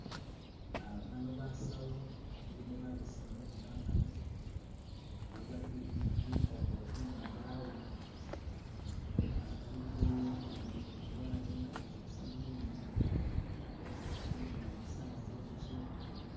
Uh bano basawu balimo babesemu ne bamali , bagwatile bikokolo kuminwa jaabwe , uh bali kujanjaba umulwale nenga bakhozesa byuma bali mudwalilo saawa ze mukilo.